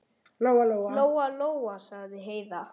Lóa-Lóa, sagði Heiða.